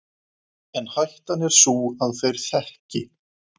En hættan er sú að þeir þekki